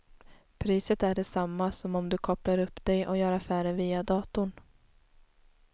Priset är detsamma som om du kopplar upp dig och gör affärer via datorn.